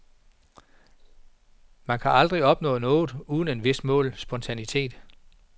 Man kan aldrig opnå noget uden et vist mål spontanitet.